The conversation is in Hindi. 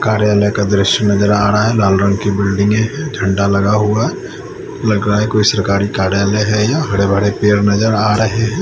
कार्यालय का दृश्या नजर आ रहा है लाल रंग का बिल्डिंग है झंडा लगा हुआ लग रहा है कोई सरकारी कार्यालय है यह हरे भरे पेड़ नजर आ रहे है।